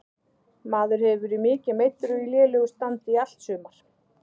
Maður hefur verið mikið meiddur og í lélegu standi í allt sumar.